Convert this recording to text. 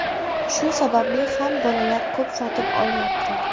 Shu sababli ham bolalar ko‘p sotib olyapti”.